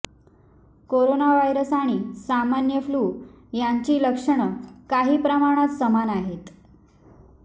corona virus आणि सामान्य flu यांची लक्षणं काही प्रमाणात समान आहेत